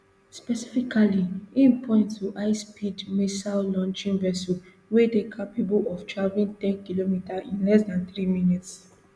specifically im point to highspeed missilelaunching vessels wey dey capable of travelling ten km in less dan three minutes